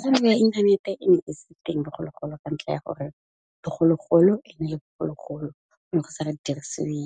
Gongwe inthanete e ne e se teng bogologolo ka ntlha ya gore, bogologolo ene le bogologolo ne go sa dirisiwe